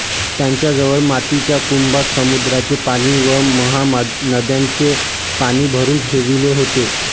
त्यांच्या जवळ मातीच्या कुंभात समुद्राचे पाणी व महानद्यांचे पाणी भरून ठेविले होते